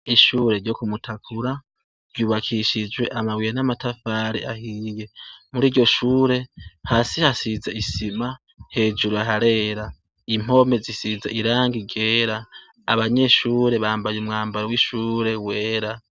Ishure ryo kumutakura ryubakishijwe amabuye namatafari ahiye muri iryoshure hasi hasize isima hejuru harera impome zisize irangi ryera abanyeshure bambaye umwambaro wishure wera